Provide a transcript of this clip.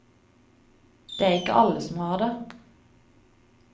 Det er ikke alle som har det.